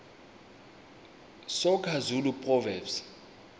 soga zulu proverbs